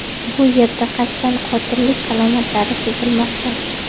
Bu yerda qasddan qotillik alomatlari sezilmoqda.